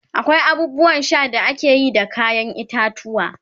akwai abubuwan Sha da akeyi da kayan itatuwwa